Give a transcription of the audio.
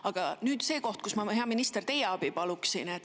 Aga nüüd see koht, kus ma, hea minister, teie abi paluksin.